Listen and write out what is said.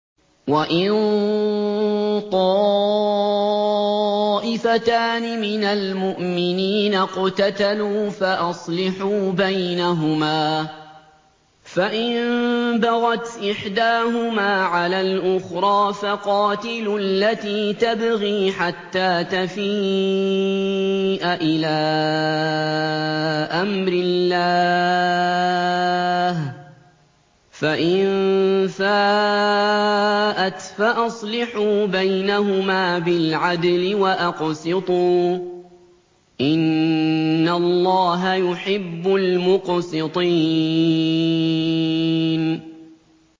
وَإِن طَائِفَتَانِ مِنَ الْمُؤْمِنِينَ اقْتَتَلُوا فَأَصْلِحُوا بَيْنَهُمَا ۖ فَإِن بَغَتْ إِحْدَاهُمَا عَلَى الْأُخْرَىٰ فَقَاتِلُوا الَّتِي تَبْغِي حَتَّىٰ تَفِيءَ إِلَىٰ أَمْرِ اللَّهِ ۚ فَإِن فَاءَتْ فَأَصْلِحُوا بَيْنَهُمَا بِالْعَدْلِ وَأَقْسِطُوا ۖ إِنَّ اللَّهَ يُحِبُّ الْمُقْسِطِينَ